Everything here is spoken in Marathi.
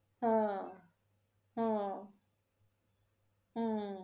हा हा हम्म